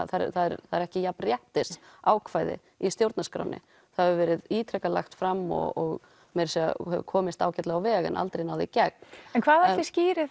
það er ekki jafnréttisákvæði í stjórnarskránni það hefur verið ítrekað lagt fram og meira segja hefur komist ágætlega á veg en aldrei náð í gegn en hvað ætli skýri